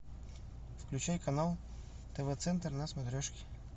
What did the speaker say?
включай канал тв центр на смотрешке